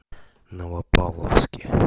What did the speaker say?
новопавловске